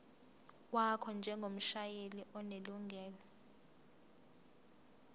wakho njengomshayeli onelungelo